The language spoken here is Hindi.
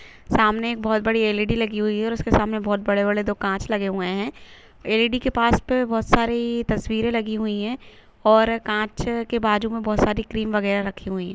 सामने एक बहोत बड़ी एल. ई. डी. लगी हुई है और उसके सामने बहुत बड़े-बड़े दो कांच लगे हुए है एल. ई. डी. के पास पे बहोत सारी तस्वीर लगी हुई है और कांच के बाजू में बहोत सारी क्रीम वगैरा रखी हुई--